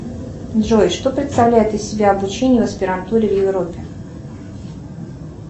джой что представляет из себя обучение в аспирантуре в европе